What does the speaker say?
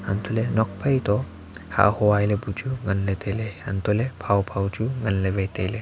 hantoh ley nuakphai to hah hua lai lai pe chu ngan ley tailey hantoh ley phao phao chu ngan ley wai tailey.